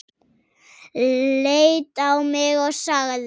Leit á mig og sagði